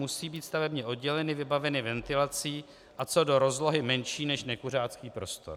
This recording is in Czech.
Musí být stavebně odděleny, vybaveny ventilací a co do rozlohy menší než nekuřáckých prostor.